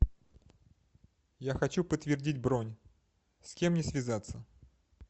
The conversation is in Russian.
я хочу подтвердить бронь с кем мне связаться